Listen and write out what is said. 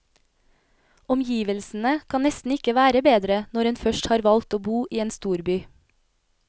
Omgivelsene kan nesten ikke være bedre, når en først har valgt å bo i en storby.